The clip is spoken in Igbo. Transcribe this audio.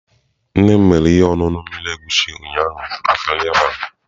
Nne m mere ihe ọṅụṅụ mmiri egusi ụnyaahụ maka nri abalị.